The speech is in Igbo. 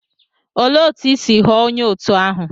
Olee otú i si ghọọ onye òtù ahụ?